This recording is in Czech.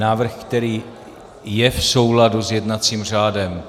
Návrh, který je v souladu s jednacím řádem.